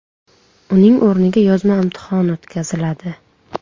Uning o‘rniga yozma imtihon o‘tkaziladi.